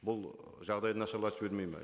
бұл ы жағдайды нашарлатып жібермейді ме